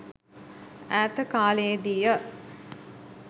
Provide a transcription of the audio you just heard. ඈත කාලයේ දීය.